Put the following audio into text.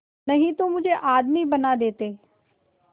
नहीं तो मुझे आदमी बना देते